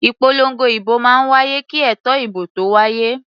Ìpolongo ìbò máa ń wáyé kí ètò ìbò tó wáyé.